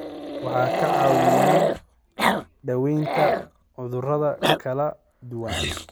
Waxay ka caawiyaan daaweynta cudurrada kala duwan.